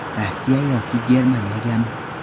Rossiya yoki Germaniyagami?